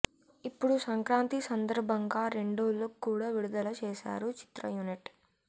ఇప్పుడు సంక్రాంతి సందర్భంగా రెండో లుక్ కూడా విడుదల చేసారు చిత్రయూనిట్